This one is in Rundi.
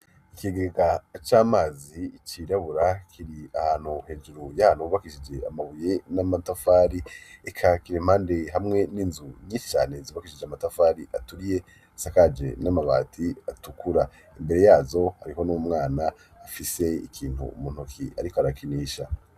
Ikigega c'amazi icirabura kiri ahantu hejuru y'ahantu yubakishije amabuye n'amatafari eka kiri impande hamwe n'inzu ny'ishane zubakishije amatafari aturiye sakaje n'amabati atukura imbere yazo ariho n'umwana afise ikintu umuntuki ariko arakinisha.